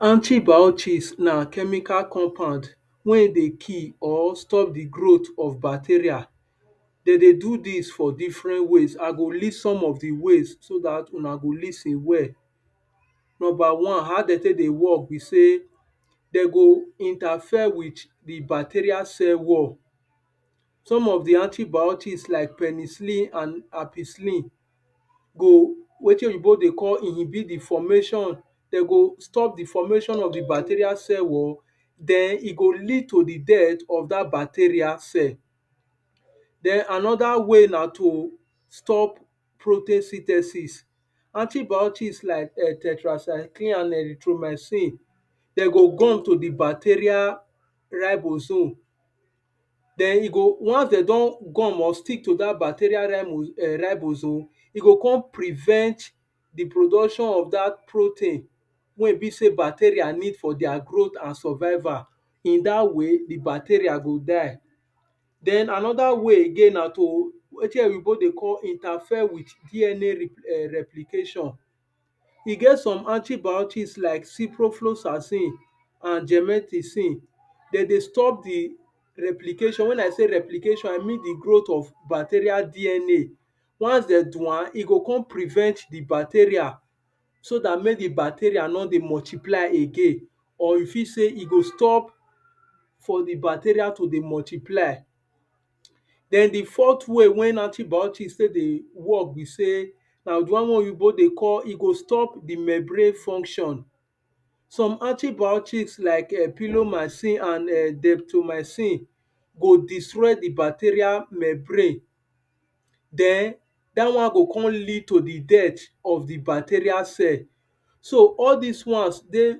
antibiotics na chemical compund wey e de kill or stop the growth of bacteria dem dey do dis for different ways i go list some of the ways so dat una go lis ten well nomba one how de tek de work be say dem go interfere with the bacteria cell wall some of di antibiotics like penicilin and ampicilin go wetin oyibo de call di formation dem go stop the formation of the bacteria cell wall then e go lead to the death of that bacteria cell then anoda way na to stop protosynthesis antibiotics like um tetracyclin and erythromycin them go gum to the bacteria ribozo then e go once dem don gum or stick to the bacteria rimo um ribozo e go come prevent the production of dat protein wey e be say bacteria need for their growth and survival in dat way the bacteria go die then anoda way again na to wetin oyibo de call interfer with DNA um reprication e get some antibiotics like ciprofloxacin and gemeticin dem de stop the replication when i say replication i mean the growth of bacteria DNA once dem do am e go come prevent the bacteria so that make the bacteria no de multiply again or e fit say e go stop for the bacteria to de multiply then the fourth way wen antibiotic take de work be say na the one wey oyibo de call e go stop the membrane function some antibiotics like e pinomaicin and detromaicin go destroy the bacteria membrane then dat one go come lead to the death of the bacteria cell so all these ones dey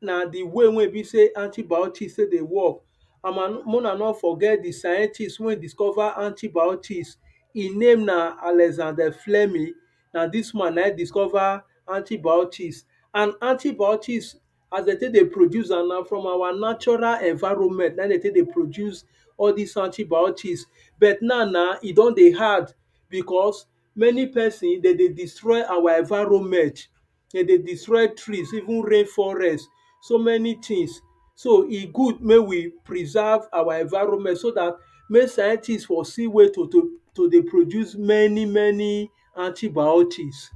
na de way wey e be say antibiotics tek de work una no forget the scientist wey discover antibiotics im name na Alexander Flemmy na this man na im discover antibiotics and antibiotics as dem tek de produce am na from our natural environment na im dem dey take dey produce all these antibiotics but now na, e don de hard beacause many person dem de destroy our enviroment dem de destroy trees even rain forest so many things so e good mek we preserve our environment so that make scientist for see way to to to de produce many many antibiotics